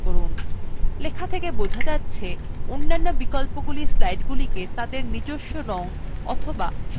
লেখা থেকে বোঝা যাচ্ছে অন্যান্য বিকল্পগুলি slideগুলিকে তাদের নিজস্ব রং অথবা সাদাকালো ত়ে ছাপবে